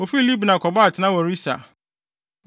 Wofii Libna kɔbɔɔ atenae wɔ Risa.